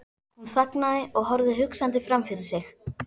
Hún þagnaði og horfði hugsandi framfyrir sig.